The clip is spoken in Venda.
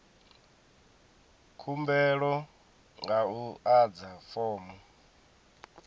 khumbelo nga u adza fomo